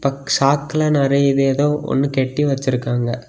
சாக்குல நறைய இது ஏதோ கட்டி வச்சிருக்காங்க.